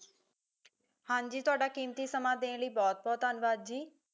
ਹਾਂਜੀ ਤੁਹਾਡਾ ਕੀਮਤੀ ਸਮਾਂ ਦੇਣ ਲਈ ਬਹੁਤ ਬਹੁਤ ਧੰਨਵਾਦ ਜੀ